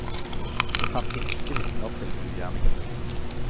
Det fantes ikke vitner til ugjerningen.